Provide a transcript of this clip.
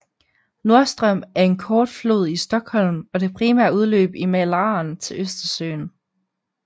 Norrström er en kort flod i Stockholm og det primære udløb fra Mälaren til Østersøen